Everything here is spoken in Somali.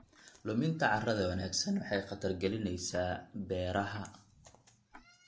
Luminta carrada wanaagsan waxay khatar gelinaysaa beeraha.